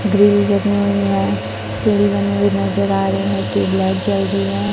Grill बनी हुई हैं सीढ़ी बनी हुई नजर आ रही है ट्यूब लाइट जल रही है।